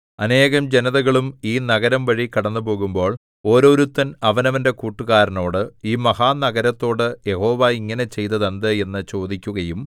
അനേകം ജനതകളും ഈ നഗരംവഴി കടന്നുപോകുമ്പോൾ ഓരോരുത്തൻ അവനവന്റെ കൂട്ടുകാരനോട് ഈ മഹാനഗരത്തോട് യഹോവ ഇങ്ങനെ ചെയ്തതെന്ത് എന്നു ചോദിക്കുകയും